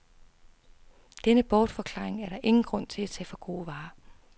Denne bortforklaring er der ingen grund til at tage for gode varer.